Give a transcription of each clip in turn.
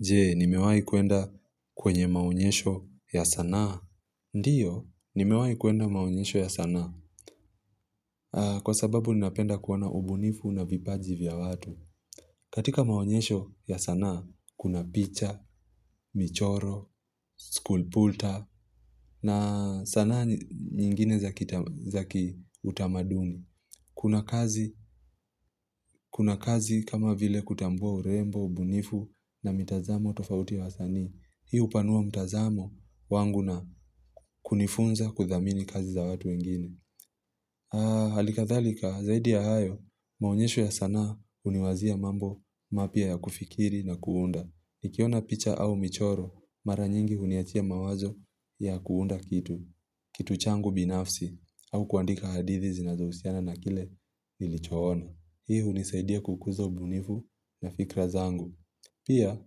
Je, nimewahi kwenda kwenye maonyesho ya sanaa. Ndiyo, nimewai kuenda maonyesho ya sanaa. Kwa sababu, ninapenda kuona ubunifu na vipaji vya watu. Katika maonyesho ya sanaa, kuna picha, michoro, school pulta, na sanaa nyingine zaki utamaduni. Kuna kazi, kuna kazi kama vile kutambua urembo, ubunifu na mitazamo tofauti wa sani. Hii hupanua mtazamo wangu na kunifunza kuthamini kazi za watu wengine. Ha, halika dhalika, zaidi ya hayo, maonyesho ya sanaa huniwazia mambo mapya ya kufikiri na kuunda. Nikiona picha au michoro, mara nyingi huniachia mawazo ya kuunda kitu, kitu changu binafsi, au kuandika hadithi zinazohusiana na kile nilichona. Hii hunisaidia kukuza bunivu na fikra zangu. Pia,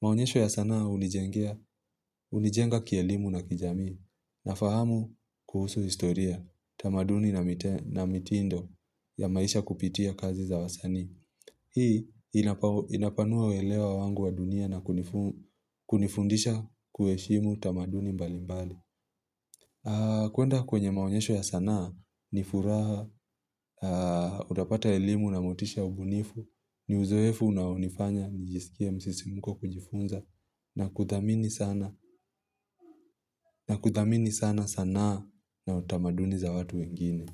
maonyesho ya sanaa hunijengea kielimu na kijamii na fahamu kuhusu historia, tamaduni na mitindo ya maisha kupitia kazi za wasani. Hii inapanua welewa wangu wa dunia na kunifundisha kuheshimu tamaduni mbali mbali. Kwenda kwenye maonyesho ya sanaa ni furaha, utapata elimu na motisha ubunifu, ni uzoefu naonifanya, nijisikia msisimuko kujifunza na kuthamini sana sanaa na utamaduni za watu wengine.